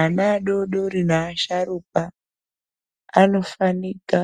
Ana adodori neasharukwa anofanika